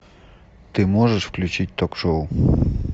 ты можешь включить ток шоу